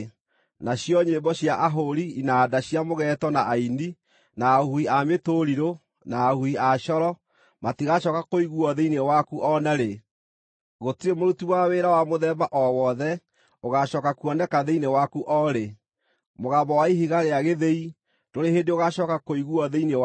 Nacio nyĩmbo cia ahũũri inanda cia mũgeeto na aini, na ahuhi a mĩtũrirũ, na ahuhi a coro, matigacooka kũiguuo thĩinĩ waku o na rĩ. Gũtirĩ mũruti wa wĩra wa mũthemba o wothe ũgacooka kuoneka thĩinĩ waku o rĩ. Mũgambo wa ihiga rĩa gĩthĩi ndũrĩ hĩndĩ ũgaacooka kũiguuo thĩinĩ waku.